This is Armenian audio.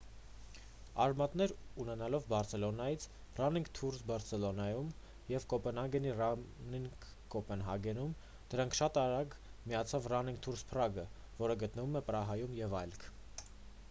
արմատներ ունենալով բարսելոնայի «running tours barcelona»-ում և կոպենհագենի «running copenhagen»-ում ` դրան շատ արագ միացավ «running tours prague:-ը որը գտնվում է պրահայում և այլք: